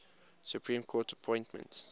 supreme court appointments